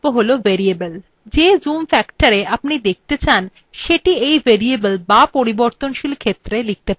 যে zoom factorএ আপনি document দেখতে চান সেটি in variable বা পরিবর্তনশীল ক্ষেত্রে লিখতে পারেন